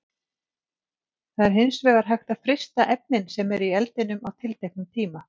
Það er hins vegar hægt að frysta efnin sem eru í eldinum á tilteknum tíma.